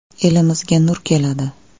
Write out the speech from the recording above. Elimizga nur keladi”.